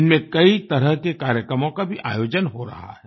इनमें कई तरह के कार्यक्रमों का भी आयोजन हो रहा है